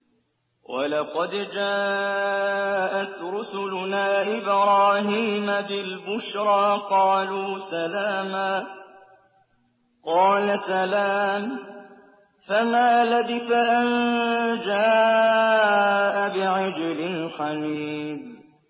وَلَقَدْ جَاءَتْ رُسُلُنَا إِبْرَاهِيمَ بِالْبُشْرَىٰ قَالُوا سَلَامًا ۖ قَالَ سَلَامٌ ۖ فَمَا لَبِثَ أَن جَاءَ بِعِجْلٍ حَنِيذٍ